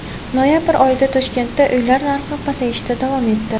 Noyabr oyida Toshkentda uylar narxi pasayishda davom etdi.